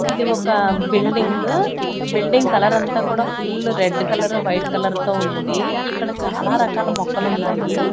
ఇది ఒక building building కలరంతా కూడా full red colour white colour తో ఉంది ఇక్కడ చాలా రకాల మొక్కలున్నాయి.